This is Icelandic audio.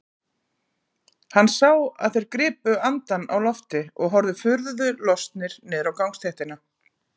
Hann sá að þeir gripu andann á lofti og horfðu furðu lostnir niður á gangstéttina.